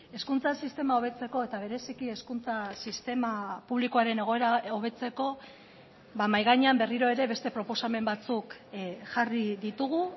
hezkuntza sistema hobetzeko eta bereziki hezkuntza sistema publikoaren egoera hobetzeko mahai gainean berriro ere beste proposamen batzuk jarri ditugu